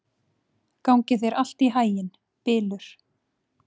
Gangi þér allt í haginn, Bylur.